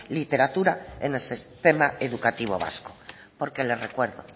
literatura en el sistema educativo vasco porque le recuerdo